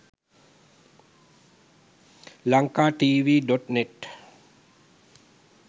lankatv.net